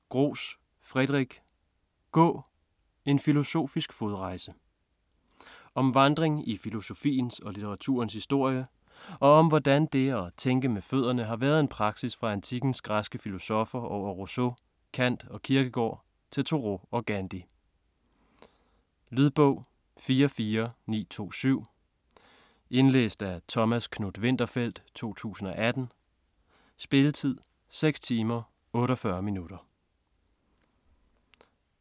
Gros, Frédéric: Gå!: en filosofisk fodrejse Om vandring i filosofiens og litteraturens historie, og om hvordan det et tænke med fødderne har været en praksis fra antikkens græske filosoffer over Rousseau, Kant og Kierkegaard til Thoreau og Gandhi. Lydbog 44927 Indlæst af Thomas Knuth-Winterfeldt, 2018. Spilletid: 6 timer, 48 minutter.